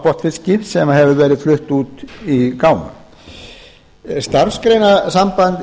botnfiski sem hefur verið fluttur út í gámum starfsgreinasamband